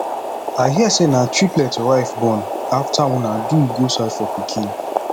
i hear say na triplet your wife born after una do go search for pikin